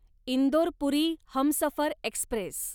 Indore Puri Humsafar Express